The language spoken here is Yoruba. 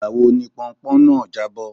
Ìgbà wo ni pọnpọ́n náà jábọ́?